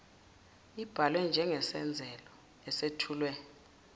ibalwe njengesengezelo esethulwe